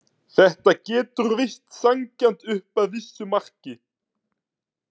Þetta getur virst sanngjarnt upp að vissu marki.